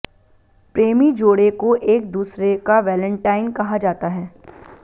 प्रेमी जोड़े को एक दुसरे का वैलेंटाइन कहा जाता है